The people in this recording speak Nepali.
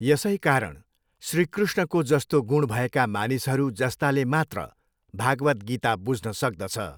यसै कारण श्रीकृष्णको जस्तो गुण भएका मानिसहरू जस्ताले मात्र भागवत् गीता बुझ्न सक्दछ।